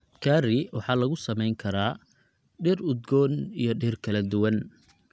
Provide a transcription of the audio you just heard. Curry waxaa lagu samayn karaa dhir udgoon iyo dhir kala duwan.